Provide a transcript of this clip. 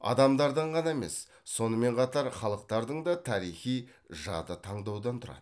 адамдардан ғана емес сонымен қатар халықтардың да тарихи жады таңдаудан тұрады